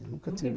Nunca tive...